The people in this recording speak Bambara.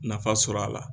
Nafa sɔrɔ a la